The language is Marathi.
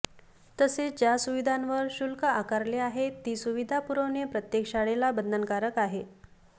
तसेच ज्या सुविधांवर शुल्क आकारले आहेत ती सुविधा पुरविणे प्रत्येक शाळेला बंधनकारक आहे